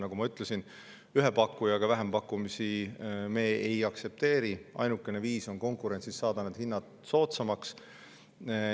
Nagu ma ütlesin, ühe pakkujaga vähempakkumisi me ei aktsepteeri, ainukene viis on saada konkurentsis hinnad soodsamaks.